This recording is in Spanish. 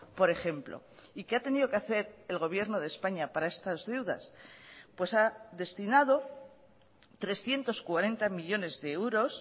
por ejemplo y que ha tenido que hacer el gobierno de españa para estas deudas pues ha destinado trescientos cuarenta millónes de euros